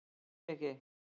En því ekki?